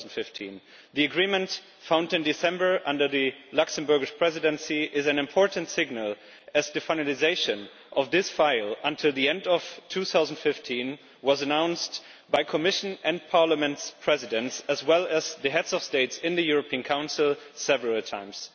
2015. The agreement found in December under the Luxembourg Presidency is an important signal, as the finalisation of this file by the end of 2015 was announced by the Commission and Parliament's Presidents, as well as the heads of state in the European Council several times.